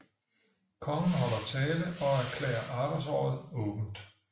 Kongen holder tale og erklærer arbejdsåret åbent